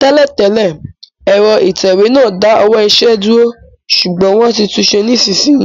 Tẹ́lẹ̀ tẹ́lẹ̀, ẹ̀rọ ìtẹ̀wé náà dá ọwọ́ iṣẹ́ dúró, ṣùgbọ́n wọ́n ti tunṣe nísinsìnyí